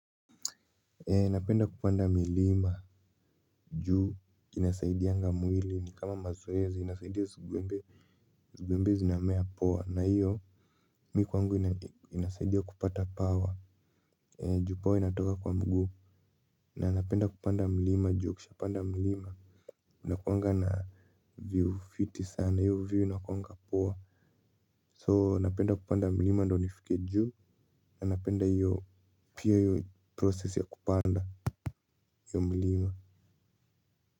Ee napenda kupanda milima juu inasaidianga mwili ni kama mazoezi inasaidia skuembe zugwembe zinamea poa na hiyo mi kwangu inasaidia kupata pawa ju pawa inatoka kwa mguu na napenda kupanda milima ju ukishapanda milima unakuangana na view fiti sana hiyo view inakuangana poa so napenda kupanda milima ndo nifike juu na napenda hiyo pia yu process ya kupanda hio mlima.